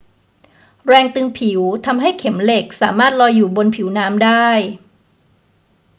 แรงตึงผิวทำให้เข็มเหล็กสามารถลอยอยู่บนผิวน้ำได้